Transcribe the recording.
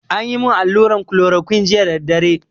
Anyi mun allura kolorokuine jiya da daddare